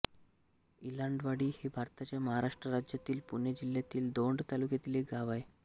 गलांडवाडी हे भारताच्या महाराष्ट्र राज्यातील पुणे जिल्ह्यातील दौंड तालुक्यातील एक गाव आहे